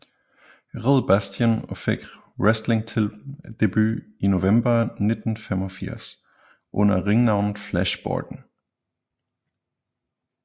Red Bastien og fik wrestlingdebut i november 1985 under ringnavnet Flash Borden